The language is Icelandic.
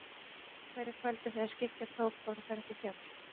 Á hverju kvöldi þegar skyggja tók fóru þær upp í fjall.